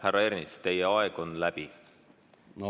Härra Ernits, teie aeg on läbi!